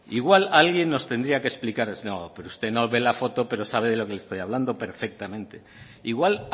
igual alguien nos tendría que explicar no pero usted no ve la foto pero sabe de lo que le estoy hablando perfectamente igual